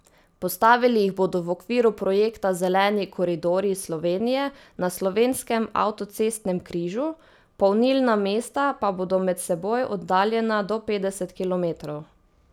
Postavili jih bodo v okviru projekta Zeleni koridorji Slovenije na slovenskem avtocestnem križu, polnilna mesta pa bodo med seboj oddaljena do petdeset kilometrov.